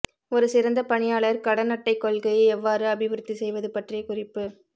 ஒரு சிறந்த பணியாளர் கடன் அட்டை கொள்கையை எவ்வாறு அபிவிருத்தி செய்வது பற்றிய குறிப்பு